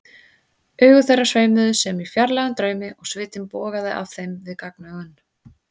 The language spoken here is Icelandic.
Augu þeirra sveimuðu sem í fjarlægum draumi og svitinn bogaði af þeim við gagnaugun.